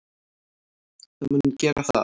Það mun gera það.